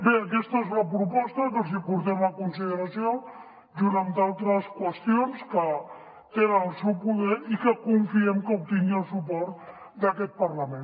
bé aquesta és la proposta que els hi portem a consideració junt amb d’altres qüestions que tenen al seu poder i confiem que obtingui el suport d’aquest parlament